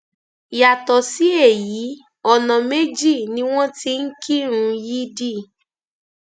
yàtọ sí èyí ọnà méjì ni wọn ti ń kírun yídì